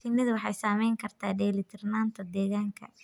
Shinnidu waxay saamayn kartaa dheelitirnaanta deegaanka.